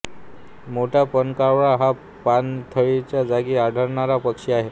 मोठा पाणकावळा हा पाणथळीच्या जागी आढळणारा पक्षी आहे